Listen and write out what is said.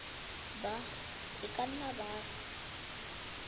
ba e ka nnang baagi